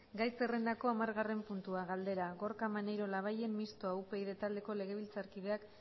gai zerrendako hamargarren puntua galdera gorka maneiro labayen mistoa upyd taldeko legebiltzarkideak